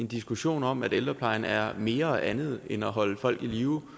diskussion om at ældreplejen er mere og andet end at holde folk i live